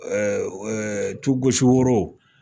Ɛ ɛ tu gosi woro